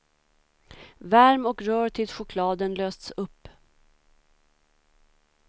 Värm och rör tills chokladen lösts upp.